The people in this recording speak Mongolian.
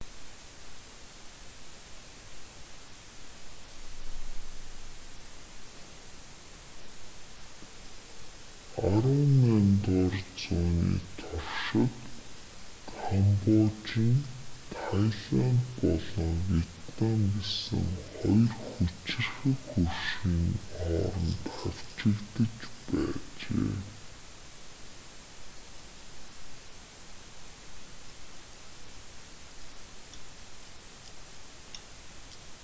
18-р зууны туршид камбож нь тайланд болон вьетнам гэсэн хоёр хүчирхэг хөршийн хооронд хавчигдаж байжээ